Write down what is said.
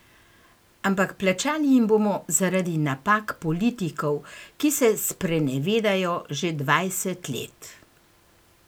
Ampak plačali jim bomo zaradi napak politikov, ki se sprenevedajo že dvajset let.